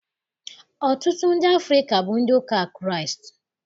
Ọtụtụ ndị Afrịka bụ ndị ụka Kraịst